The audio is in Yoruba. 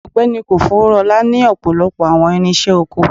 Ọgbẹni kofoworola ni ọpọlọpọ awọn irinṣẹ oko